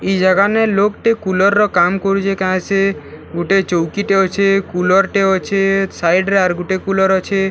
ଇ ଜାଗା ନେ ଲୋକ୍‌ ଟେ କୁଲର ର କାମ କରୁଛେ କାଏଁ ସେ ଗୁଟେ ଚୌକି ଟେ ଅଛେ କୁଲର୍‌ ଟେ ଅଛେ ସାଇଡ୍‌ ରେ ଆର୍‌ ଗୁଟେ କୁଲର୍‌ ଅଛେ --